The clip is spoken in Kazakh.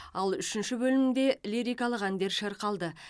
ал үшінші бөлімде лирикалық әндер шырқалды